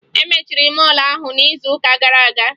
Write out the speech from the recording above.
E mechiri mọọlụ ahụ n'izuụka gara aga